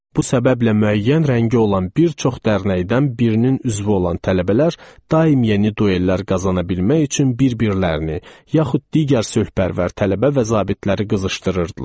Bu səbəblə müəyyən rəngi olan bir çox dərnəkdən birinin üzvü olan tələbələr daim yeni duellər qazana bilmək üçün bir-birlərini yaxud digər sözpərvər tələbə və zabitləri qızışdırırdılar.